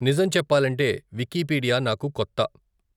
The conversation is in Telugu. నిజం చెప్పాలంటే వికిపీడియా నాకు కొత్త.